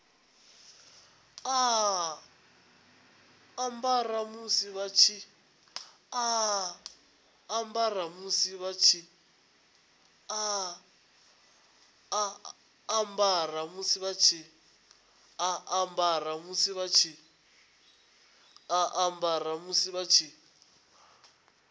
a ambara musi vha tshi